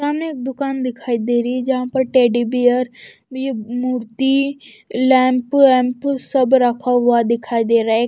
सामने एक दुकान दिखाई दे रही है जहां पर टेडी बेयर विव मूर्ति लैंप वैम्प सब रखा हुआ दिखाई दे रहा है।